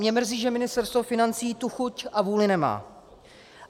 Mě mrzí, že Ministerstvo financí tu chuť a vůli nemá.